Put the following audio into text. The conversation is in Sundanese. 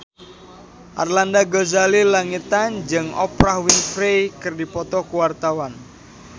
Arlanda Ghazali Langitan jeung Oprah Winfrey keur dipoto ku wartawan